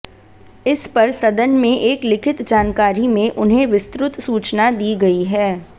इस पर सदन में एक लिखित जानकारी में उन्हें विस्तृत सूचना दी गई है